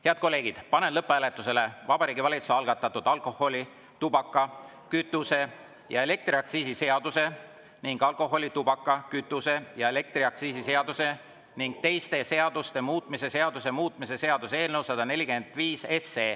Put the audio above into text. Head kolleegid, panen lõpphääletusele Vabariigi Valitsuse algatatud alkoholi‑, tubaka‑, kütuse‑ ja elektriaktsiisi seaduse ning alkoholi‑, tubaka‑, kütuse‑ ja elektriaktsiisi seaduse ning teiste seaduste muutmise seaduse muutmise seaduse eelnõu 145.